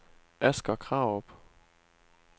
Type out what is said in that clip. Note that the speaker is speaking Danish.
Asger Krarup